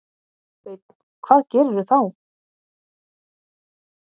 Sveinn: Hvað gerirðu þá?